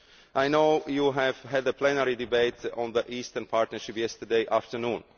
Ukraine. I know you had a plenary debate on the Eastern Partnership yesterday afternoon.